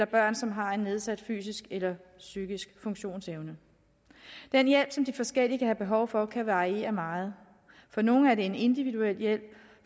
børn som har nedsat fysisk eller psykisk funktionsevne den hjælp som de forskellige kan have behov for kan variere meget for nogle er det en individuel hjælp